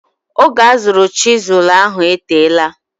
Oge azụrụ chisụl ahụ eteela.